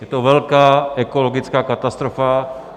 Je to velká ekologická katastrofa.